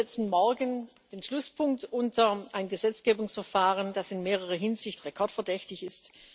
Wir setzen morgen den Schlusspunkt unter ein Gesetzgebungsverfahren, das in mehrerer Hinsicht rekordverdächtig ist.